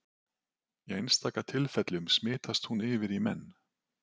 Í einstaka tilfellum smitast hún yfir í menn.